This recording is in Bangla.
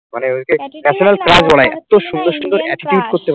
মানে ওই যে national crush